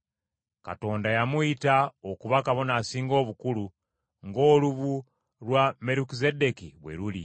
Katonda yamuyita okuba Kabona Asinga Obukulu ng’olubu lwa Merukizeddeeki bwe luli.